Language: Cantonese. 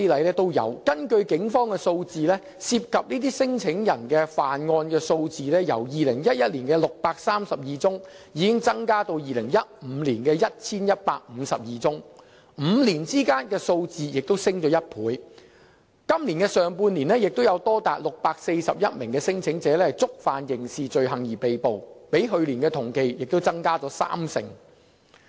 根據警方的數字，涉及這些聲請人的犯案數字，已由2011年的632宗增至2015年的 1,152 宗，數字在5年間升了1倍；今年上半年亦有多達641名聲請人因觸犯刑事罪行而被捕，比去年同期亦增加了三成。